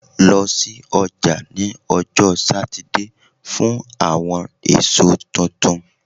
Lọ si ọja ni ọjọ Satidee fun awọn eso tuntun